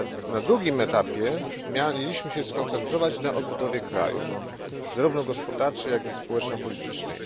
Na drugim etapie mieliśmy się skoncentrować na odbudowie kraju, zarówno gospodarczej, jak i społeczno politycznej.